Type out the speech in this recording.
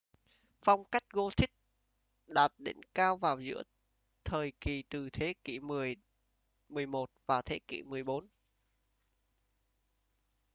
phong cách gothic đạt đỉnh cao vào giữa thời kỳ từ thế kỷ 10 - 11 và thế kỷ 14